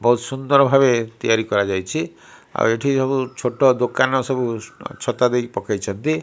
ବୋହୁତ ଭାବେ ତିଆରି କରାଯାଇଛି। ଆଉ ଏଠି ସବୁ ଛୋଟୋ ଦୋକାନ ସବୁ ଛତା ଦେଇ ପକେଇଛନ୍ତି।